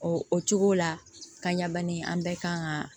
O o cogo la ka ɲa bani an bɛɛ kan ka